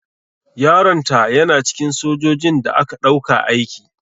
Yaron ta yana cikin sojojin da aka ɗauka aiki.